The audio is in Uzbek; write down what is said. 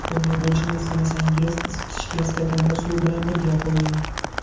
Bunday bo‘lishini istamasangiz, isitishga stakanda suv bilan birga qo‘ying.